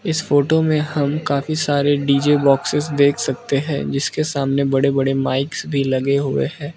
इस फोटो में हम काफी सारे डी_जे बॉक्सिंस देख सकते हैं जिसके सामने बड़े बड़े माइकस सभी लगे हुए हैं।